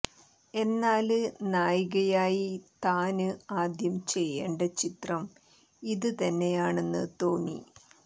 എന്നാല് നായികയായി താന് ആദ്യം ചെയ്യേണ്ട ചിത്രം ഇത് തന്നെയാണെന്ന് തോന്നി